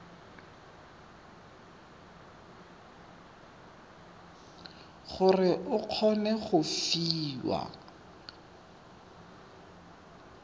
gore o kgone go fiwa